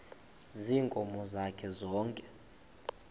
ziinkomo zakhe zonke